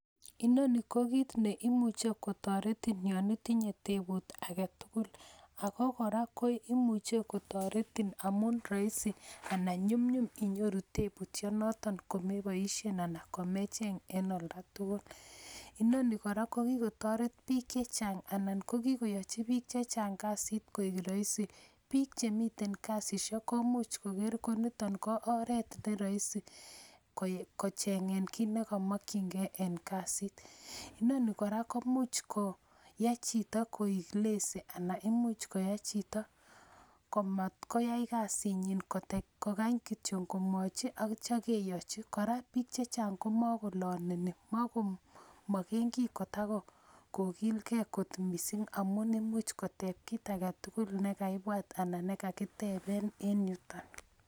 Inoni ko giit neimuche kotoretin yoon itinye tebut agetugul, ago koraa koimuche kotoretin amun roisi anan nyumnyum inyoruu tebutyonoton komeboisien anan komecheng en oldo agetugul, inonii kora ko gigotoret biik chechang anan ko gigoyochi biik chechang kasiit koek roisi biik chemiten kasisiek komuch koger koniton ko oreet neroisi kochengeng kiit negomokyingee en kjasit, inonii koraa komuch koo yai chito koek lazy anan imuuch koyai chito komat koyai kasiit nyiin kogany kityo komwochi at yoo keyochi, koraa chechang komagoloneni magomogengii kotagogilgee koot mising amun imuch koteeb kii agetugul negaibwaat anan negagitebeen en yuton.